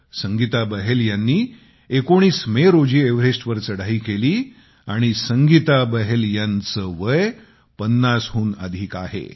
संगीता बहल यांनी 19 मे रोजी एव्हरेस्टवर चढाई केली आणि संगीता बहल यांचे वय 50 हून अधिक आहे